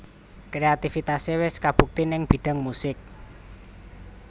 Kreatifitasé wis kabukti ning bidang musik